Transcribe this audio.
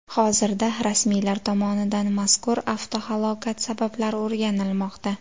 Hozirda rasmiylar tomonidan mazkur avtohalokat sabablari o‘rganilmoqda.